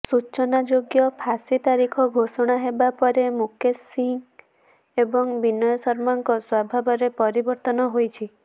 ସୂଚନାଯୋଗ୍ୟ ଫାଶୀ ତାରିଖ ଘୋଷଣା ହେବା ପରେ ମୁକେଶ ସିଂହ ଏବଂ ବିନୟ ଶର୍ମାଙ୍କ ସ୍ୱଭାବରେ ପରିବର୍ତ୍ତନ ହୋଇଛି